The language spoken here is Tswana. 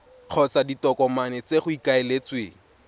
kgotsa ditokomane tse go ikaeletsweng